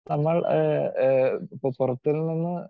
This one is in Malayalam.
സ്പീക്കർ 2 നമ്മൾ ഏഹ് ഏഹ് ഇപ്പോ പുറത്തു നിന്ന്